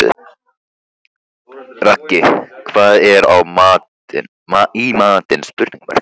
Raggi, hvað er í matinn?